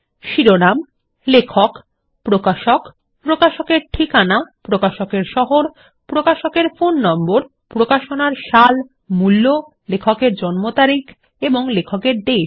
শিরোনাম লেখক প্রকাশক প্রকাশকের ঠিকানা প্রকাশকের শহর প্রকাশকের ফোননম্বর প্রকাশনার সাল মূল্য লেখকের জম্ন তারিখ এবং লেখকের দেশ